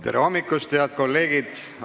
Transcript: Tere hommikust, head kolleegid!